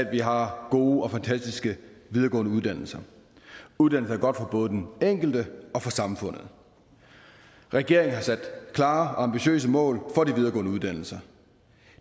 at vi har gode og fantastiske videregående uddannelser uddannelse er godt for både den enkelte og for samfundet regeringen har sat klare og ambitiøse mål for de videregående uddannelser